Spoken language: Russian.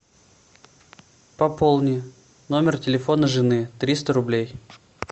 пополни номер телефона жены триста рублей